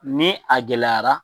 Ni a gɛlɛyara